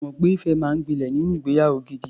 Mo mọ̀ pé ìfẹ́ máa ń gbilẹ̀ nínú ìgbeyàwó gidi.